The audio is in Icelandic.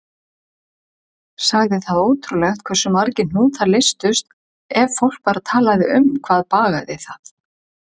Sagði það ótrúlegt hversu margir hnútar leystust ef fólk bara talaði um hvað bagaði það.